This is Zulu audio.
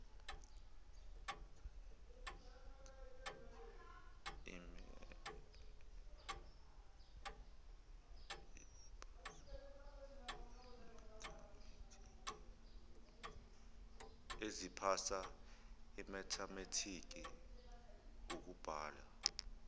eziphasa imethamethiki ukubala